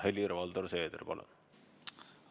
Helir-Valdor Seeder, palun!